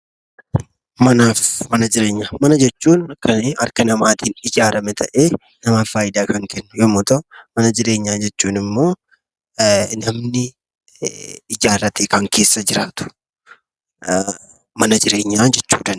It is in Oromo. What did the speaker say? Manaafi mana jireenyaa, mana jechuun kan harka namaatiin ijaarrame ta'ee namaaf faayidaa kan kennu yommuu ta'u, mana jireenyaa kan jechuunimmoo namni ijaarratee kan keessa jiraatu mana jireenyaa jechuu dandeenya.